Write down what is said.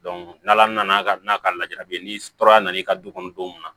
n'ala nana ka lajɛ ni nana i ka du kɔnɔ don min na